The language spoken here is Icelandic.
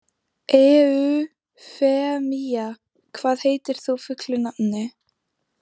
Eufemía, hvað heitir þú fullu nafni?